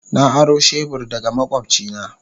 Na aro shebur daga makwabcina.